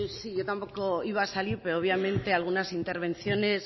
yo tampoco iba a salir peo obviamente algunas intervenciones